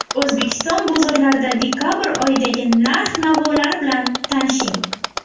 O‘zbekiston bozorlarida dekabr oyidagi narx-navolar bilan tanishing.